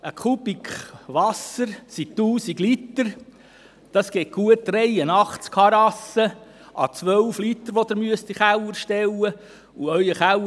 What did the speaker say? Ein Kubik Wasser sind 1000 Liter, das sind gut 83 Harassen à 12 Liter, die in den Keller gestellt werden müssen.